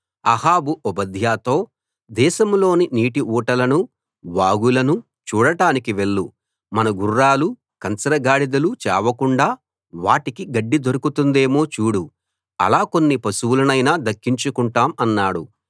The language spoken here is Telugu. అహాబు ఓబద్యాతో దేశంలోని నీటి ఊటలనూ వాగులనూ చూడడానికి వెళ్ళు మన గుర్రాలూ కంచర గాడిదలూ చావకుండా వాటికి గడ్డి దొరుకుతుందేమో చూడు అలా కొన్ని పశువులనైనా దక్కించుకుంటాం అన్నాడు